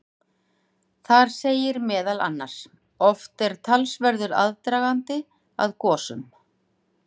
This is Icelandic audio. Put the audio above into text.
Þar segir meðal annars: Oft er talsverður aðdragandi að gosum.